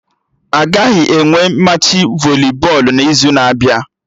Agaghị enwe Machị voli bọọlụ n'izu na-abịa